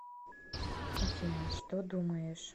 афина что думаешь